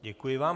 Děkuji vám.